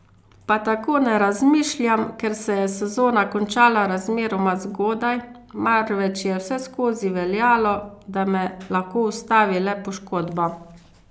Pa tako ne razmišljam, ker se je sezona končala razmeroma zgodaj, marveč je vseskozi veljalo, da me lahko ustavi le poškodba.